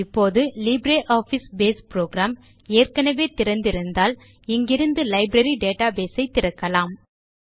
இப்போது LibreOffice base program ஏற்கெனெவே திறந்து இருந்தால் நாம் இங்கிருந்தே லைப்ரரி டேட்டாபேஸ் ஐ திறக்கலாம்